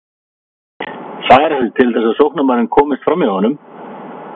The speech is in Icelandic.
Færa sig til þess að sóknarmaðurinn komist framhjá honum?